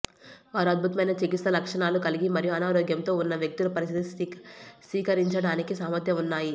వారు అద్భుతమైన చికిత్సా లక్షణాలు కలిగి మరియు అనారోగ్యంతో ఉన్న వ్యక్తుల పరిస్థితి స్థిరీకరించడానికి సామర్థ్యం ఉన్నాయి